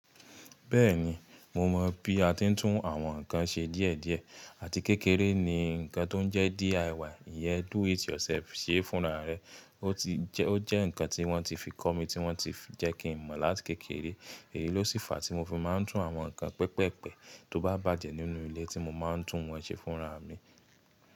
Bẹ́ẹ̀ni, mo mọ̀ bí a ti ń tún àwọn ǹkan ṣe díẹ̀ díẹ̀. Àti kékeré ni nǹkan tó ń jẹ́ DIY, ìyẹ́n Do It Yourself ṣe fúnra rẹ, o ti je ó jẹ́ nǹkan tí wọ́n ti fi kọ́ mi, tí wọ́n ti jẹ́ kí n mọ̀ láti kékeré. Èyíi ló sì fa tí mo fi máa ń tún àwọn nǹkan pẹpẹpẹ tó bá bàjẹ́ nínú ilé tí mo máa ń tún wọ́n ṣe fúnra mi.